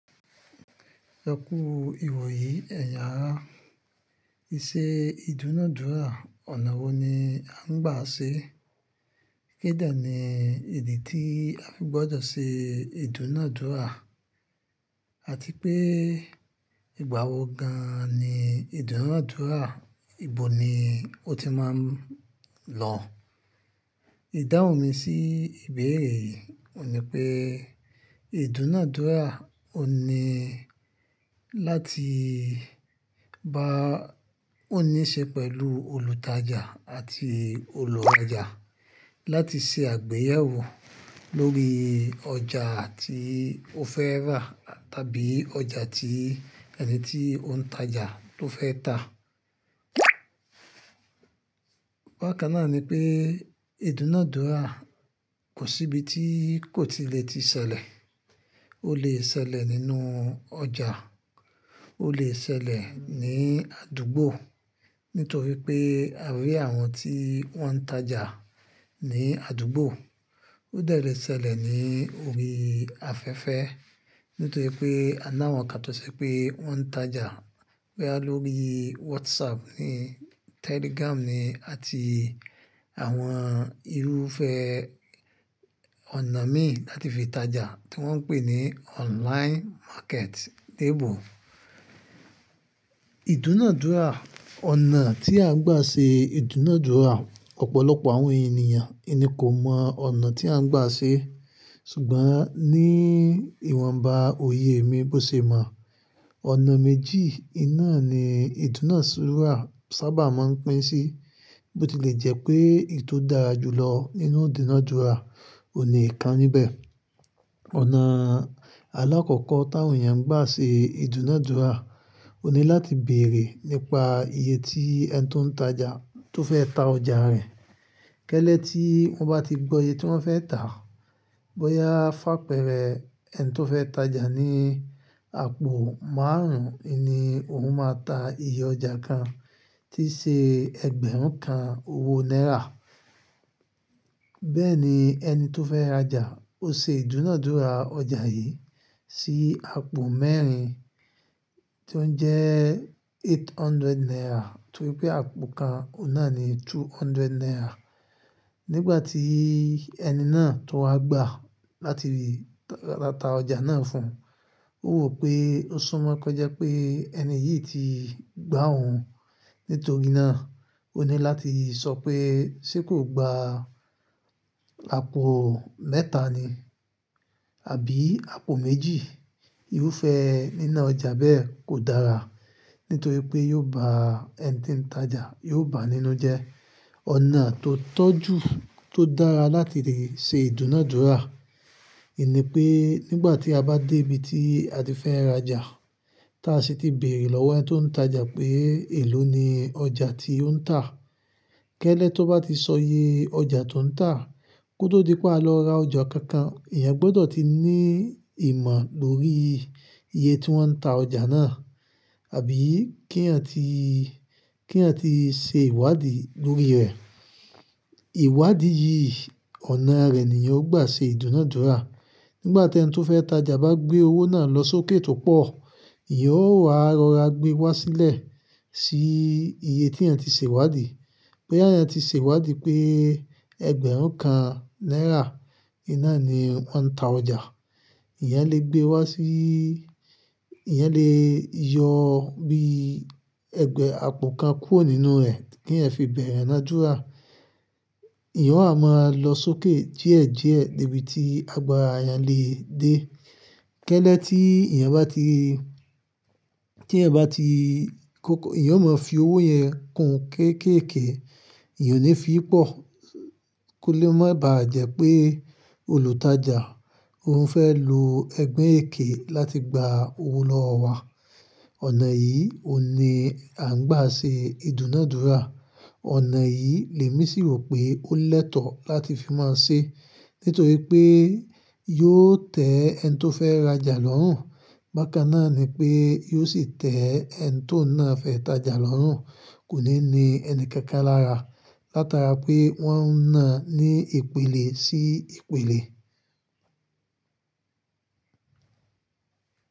Ẹ kú ìwòyí ẹ̀yin ara. Íṣe ìdúnàádúrà ọ̀nà wo ni a ń gbà ṣe? Kí de ni ìdí tí a gbọ́dọ̀ ṣe ìdúnàádúrà àti pé ìgbà wo gan-an ni ìdúnàádúrà? Ibo ni ó ti máa ń lọ̀? Ìdáhùn mi sí ìbéere yìí ò ní pé ìdúnàádúrà ò ní láti bá ó ní ṣe pẹ̀lú olùtajà àti olùrajà láti ṣe àgbéyẹ̀wò lórí ọjà tí ó fẹ́ rà tàbí ọjà tí ẹni tí ó ń tajà tó fẹ́ tà. Bákan náà ni pé ìdúnàádúrà kò sí ibi tí kò tilẹ̀ ti ṣẹlẹ̀. Ó lè ṣẹlẹ̀ nínú ọjà, ó lè ṣẹlẹ̀ ní àdúgbò nítorí pé a rí àwọn tí wọ́n ń tajà ní àdúgbò. Ó dẹ̀ le ṣẹlẹ̀ ní orí afẹ́fẹ́ nítorí pé a ná àwọn kan tó sẹ pé wọ́n ń tajà boya lórí WhatsApp ní Telegram ní àti àwọn irúfẹ́ ọ̀nà mìín láti fi tajà tí wọ́n ń pè ní online market l'ebo. Ìdúnàádúrà, ọ̀nà tí a ń gbà ṣe ìdúnàádúrà, ọ̀pọ̀lọpọ̀ àwọn ènìyàn iní kò mọ ọ̀nà tí a ń gbà ṣe ṣùgbọ́n ní ìwọ̀nba òye mi bó ṣe mọ̀. Ọ̀nà méjì iná ni ìdúnàádúrà sábà máa ń pín sí bó ti lè jẹ́ pé èyí tó dára jù lọ nínú ìdúnàádúrà ò ni íkan níbẹ̀. Ọ̀nà alákọ̀ọ́kọ́ táwọn èèyàn ń gbà ṣe ìdúnàádúrà òní láti bèrè nípa iye tí ẹni tó ń tajà tó fẹ́ tà ọjà rẹ̀. Kẹ́lẹ́ tí wọ́n bá ti gbọ́ iye tí wọ́n fẹ́ tà, bóyá f'ápẹ̀rẹ́ ẹni tó fẹ́ tajà ní àpò márùn-ún, iní òun máa tà iye ọjà kan tí ṣe ẹgbẹ̀rún kan owó náírà. Bẹ́ẹ̀ ni ẹni tó fẹ́ rajà ó ṣe ìdúnàádúrà ọjà yìí sí àpò mẹ́rin tí ó ń jẹ́ eight hundred naira torí pé àpò kan ọ̀nà ni two hundred naira. Nígbà tí ẹni náà tó wá gba láti ta ọjà náà fún, ó wọ̀ pé ó súnmọ́ kọjá pé ẹni yìí ti gbá òun. Nítorí náà, òní láti sọ pé ṣé kò gba àpò mẹ́ta ni? Àbí àpò méjì? Irúfẹ́ nínà ọjà bẹ́ẹ̀ kò dára nítorí pé yóò bá ẹni tí ń tajà yóò bá a nínú jẹ́. Ọ̀nà tó tọ́ojú tó dára láti lè ṣe ìdúnàádúrà, ìní pé nígbà tí a bá dé ibi tí a ti fẹ́ rajà, táa ṣi ti bèrè lọ́wọ́ ẹni tó ń tajà pé èló ni ọjà tí ó ń tà. Kẹ́lẹ́ tó bá ti sọ iye ọjà tó ń tà, kótó di pé a lọ ra ọjà kan kan, èèyàn gbọ́dọ̀ ti ní ìmọ̀ lórí iye tí wọ́n ń tà ọjà náà àbí k'íyan ti, k'iyan ti ṣe ìwádìí lórí rẹ̀. Ìwádìí yìí, ọ̀nà rẹ̀ ni yan o gbà ṣe ìdúnàádúrà. Nígbà tí ẹni tó fẹ́ tajà bá gbé owó náà lọ sókè tó pọ̀, ìyan ó wá rọra gbé wá sílẹ̀ sí iye tí ẹ̀ ti ṣe ìwádìí. Bí ẹni ti ṣe ìwádìí pé ẹgbẹ̀rún kan náírà iná ni wọ́n ń tà ọjà, ìyẹn lè gbé wá sí, ìyan lè yọ bí ẹgbẹ̀ àpò kan kúrò nínú rẹ̀ kí ẹ̀ fi bẹ̀rẹ̀ ìdúnàádúrà. Ẹ̀èyàn ó ha máa lọ sókè díẹ̀ díẹ̀ dé ibi tí agba èèyàn lè dé. Kẹ́lẹ́ tí èèyan bá ti, tí ẹ̀eyan bá ti kóko, èèyan ó máa fi owó yẹn kun kéékèèké, ìyẹn ò ní fi í pọ̀ kó lè má bàá jẹ́ pé olùtajà òun fẹ́ lo ogbon èké láti gba owó lọ́wọ́ wa. Ọ̀nà yìí òní à ń gbà ṣe ìdúnàádúrà. Ọ̀nà yìí lè mí sì rò pé ó l'ẹ́tọ̀ láti fi máa ń ṣe nítorí pé yóò tẹ́ ẹni tó fẹ́ rajà lọ́rùn. Bákan náà ni pé yóò sì tẹ́ ẹni tó ń ná fẹ́ tajà lọ́rùn kò ní ní ẹni kankan lára látara pé wọ́n ń ná ní ìpìlẹ̀ sí ìpìlẹ̀.